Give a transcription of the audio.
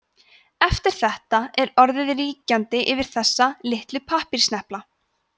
eftir þetta er orðið ríkjandi yfir þessa „litlu pappírssnepla“